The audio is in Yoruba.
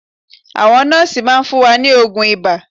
Àwọn nọ́ọ́sì máa fún wa ní oògùn ibà